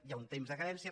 hi ha un temps de carència